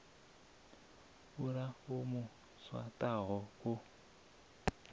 uḽa o mu swaṱaho u